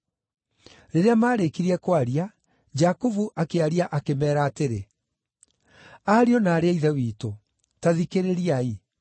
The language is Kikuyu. Rĩrĩa maarĩkirie kwaria, Jakubu akĩaria akĩmeera atĩrĩ, “Ariũ na aarĩ a Ithe witũ, ta thikĩrĩriai.